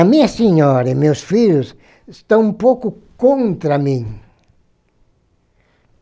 A minha senhora e meus filhos estão um pouco contra mim.